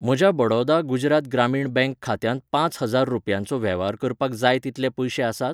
म्हज्या बडौदा गुजरात ग्रामीण बँक खात्यांत पांच हजार रुपयांचो वेव्हार करपाक जाय तितले पयशे आसात ?